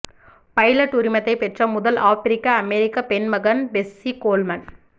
pilot உரிமத்தை பெற்ற முதல் ஆப்பிரிக்க அமெரிக்க பெண்மகன் பெஸ்ஸி கோல்மன்